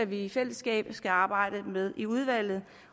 vi i fællesskab skal arbejde med i udvalget